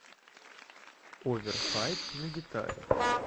оверхайп на гитаре